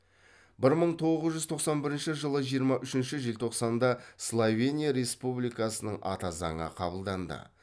бір мың тоғыз жүз тоқсан бірінші жылы жиырма үшінші желтоқсанда словения республикасының ата заңы қабылданды